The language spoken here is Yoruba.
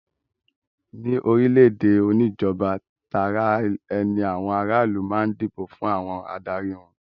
Ní orílẹ̀-èdè oníjọba Tara-ẹni àwọn aráàlú máa ń dìbò fún àwọn adarí wọn.